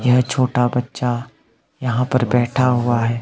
यह छोटा बच्चा यहां पर बैठा हुआ है।